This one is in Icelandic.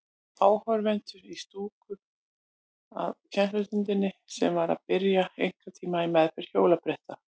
Áhorfendur í stúku að kennslustundinni sem var að byrja, einkatíma í meðferð hjólabretta.